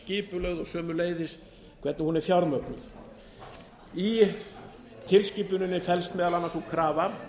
skipulögð og sömuleiðis hvernig hún er fjármögnuð í tilskipuninni felst meðal annars sú krafa